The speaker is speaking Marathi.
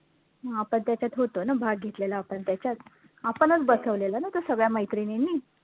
आपण त्याच्यात होतो ना भाग घेतलेला आपण त्याच्यात आपणचं बसवलेला ना तो सगळ्या मैत्रिणींनी